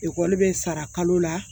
Ekɔli bɛ sara kalo la